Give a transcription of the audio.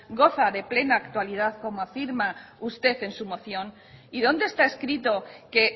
goza de plena actualidad como afirma usted en su moción y dónde está escrito que